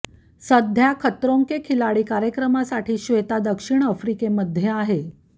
सध्या खतरों के खिलाडी कार्यक्रमासाठी श्वेता दक्षिण आफ्रिकेमध्ये आहे